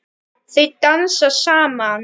Þau dansa saman.